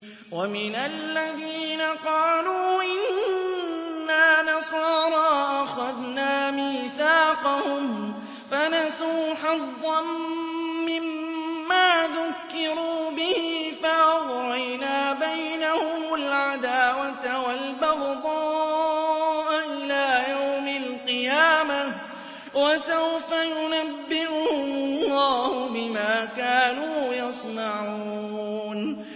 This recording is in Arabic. وَمِنَ الَّذِينَ قَالُوا إِنَّا نَصَارَىٰ أَخَذْنَا مِيثَاقَهُمْ فَنَسُوا حَظًّا مِّمَّا ذُكِّرُوا بِهِ فَأَغْرَيْنَا بَيْنَهُمُ الْعَدَاوَةَ وَالْبَغْضَاءَ إِلَىٰ يَوْمِ الْقِيَامَةِ ۚ وَسَوْفَ يُنَبِّئُهُمُ اللَّهُ بِمَا كَانُوا يَصْنَعُونَ